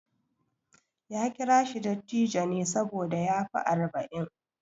Ya kira shi dattijo ne saboda ya fi arba'in.